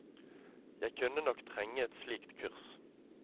Jeg kunne nok trenge et slikt kurs.